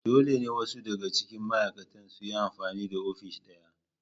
Dole ne wasu daga cikin ma'aikatan su yi amfani da ofis ɗaya